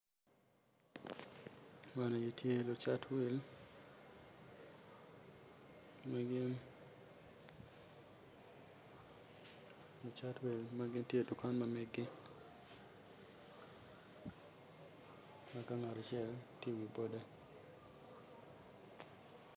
Man eni tye lucat wil ma gitye idukan ma meggi eka ngat acel tye iwi